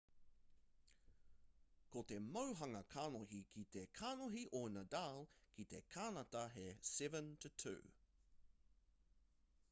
ko te mauhanga kanohi ki te kanohi o nadal ki te kānata he 7-2